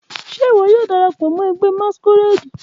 Ṣe iwọ yoo darapọ mọ ẹgbẹ masquerade?